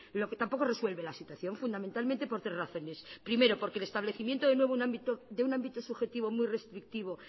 lo que tampoco resuelve la situación fundamentalmente por tres razones primero porque el establecimiento de nuevo de un ámbito subjetivo muy restrictivo